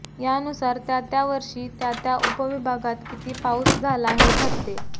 यानुसार त्या त्या वर्षी त्या त्या उप विभागात किती पाऊस झाला हे ठरते